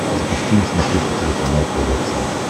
запусти на смотрешке телеканал тв центр